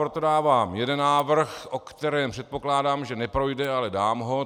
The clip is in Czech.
Proto dávám jeden návrh, o kterém předpokládám, že neprojde, ale dám ho.